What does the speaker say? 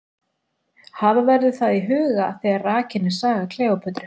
Hafa verður það í huga þegar rakin er saga Kleópötru.